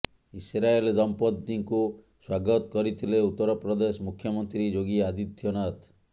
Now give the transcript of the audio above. Israel ଦମ୍ପତିଙ୍କୁ ସ୍ୱାଗତ କରିଥିଲେ ଉତ୍ତରପ୍ରଦେଶ ମୁଖ୍ୟମନ୍ତ୍ରୀ ଯୋଗୀ ଆଦିତ୍ୟନାଥ